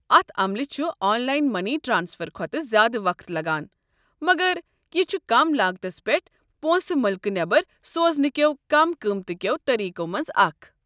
اتھ عملہِ چھُ آن لاین مٔنی ٹرٛانسفر کھۄتہٕ زیٛادٕ وقت لگان، مگر یہِ چھُ کم لاگتس پٮ۪ٹھ پونٛسہٕ مُلكہٕ نٮ۪بر سوزنہٕ کٮ۪و كم قۭمتہٕ كیو٘ طٔریٖقو منٛزٕ اكھ۔